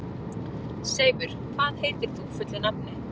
Seifur, hvað heitir þú fullu nafni?